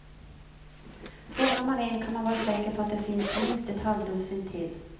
Fångar man en kan man vara säker på att det finns minst ett halvdussin till.